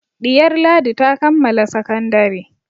Ɗiyar Ladi ta kammala sakandare.